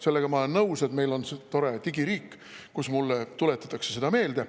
Sellega ma olen nõus, et meil on tore digiriik, kus mulle tuletatakse seda meelde.